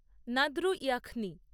Nadru ইয়াখনি